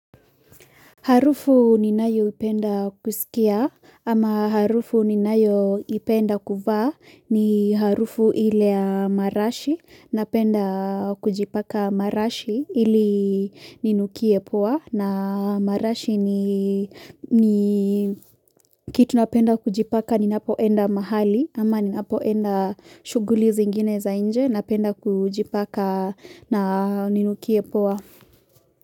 Harufu ni nayo ipenda kusikia ama harufu ni nayo ipenda kuvaa ni harufu ile ya marashi napenda kujipaka marashi ili ninukie poa na marashi ni ni kitu napenda kujipaka ninapoenda mahali ama ninapoenda shuguli zingine za inje napenda kujipaka na ninukie poa.